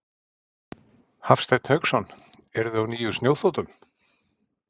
Hafsteinn Hauksson: Eruði á nýjum snjóþotum?